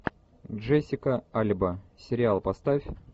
джессика альба сериал поставь